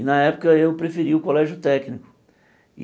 E na época eu preferi o colégio técnico.